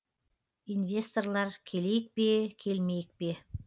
инвесторлар келейік пе келмейік пе